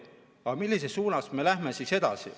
Aga millises suunas me edasi läheme?